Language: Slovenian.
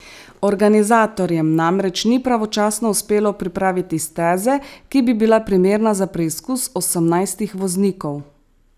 Organizatorjem namreč ni pravočasno uspelo pripraviti steze, ki bi bila primerna za preizkus osemnajstih voznikov.